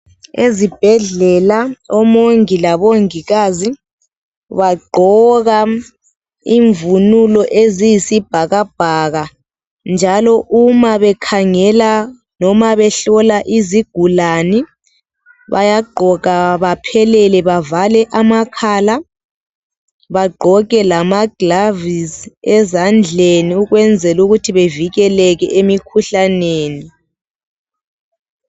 Ezibhedlela omongi la bongikazi baqgoka imvunulo eziyisibhakabhaka njalo uma bekhangela noma behlola izigulani bayagqoka baphelele bavale amakhala bagqoke lama glovisi ezandleni ukwenzela ukuthi bavikeleke emikhuhlaneni